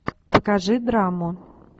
покажи драму